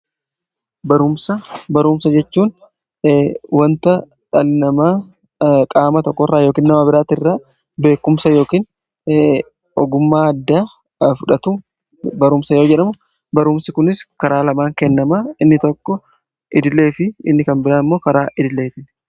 baruumsa jechuun wanta dhalinamaa qaama tokko irraa yookin nama biraatti irraa beekumsa yookin ogumaa adda fudhatu barumsa yoo jedhamu baruumsi kunis karaa lamaan kennama inni tokko idilee fi inni kan biraa immoo karaa idileetin